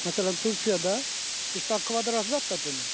Məsələn, Türkiyədə 80 kvadrat zad da demir.